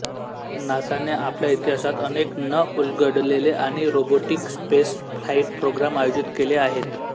नासाने आपल्या इतिहासात अनेक न उलगडलेले आणि रोबोटिक स्पेसफ्लाइट प्रोग्राम आयोजित केले आहेत